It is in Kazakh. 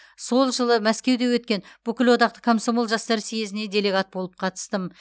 сол жылы мәскеуде өткен бүкілодақтық комсомол жастар съезіне делегет болып қатыстым